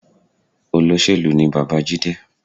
Olóṣèlú ni bàbá Jide